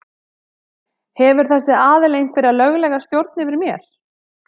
Hefur þessi aðili einhverja löglega stjórn yfir mér?